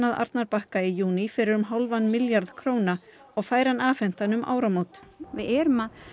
að Arnarbakka í júní fyrir um hálfan milljarð króna og fær hann afhentan um áramót við erum að